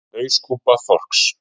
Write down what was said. Hauskúpa þorsks.